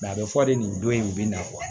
a bɛ fɔ de nin don in u bɛ na